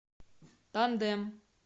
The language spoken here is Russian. тандем